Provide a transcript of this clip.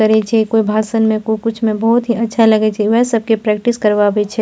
करे छै कोय भाषण में कोय कुछ मे बहुत ही अच्छा लगे छै उहे सबके प्रैक्टिस करवावे छै।